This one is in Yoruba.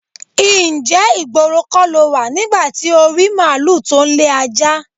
Ǹjé̩ ìgboro kó̩ lo wà nígbà tí o rí málùú tó ń le ajá?